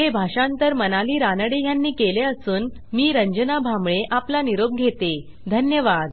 हे भाषांतर मनाली रानडे ह्यांनी केले असून आवाज रंजना भांबळे यांचा आहेधन्यवाद